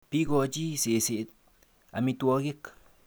Bikochi seset amitwogik.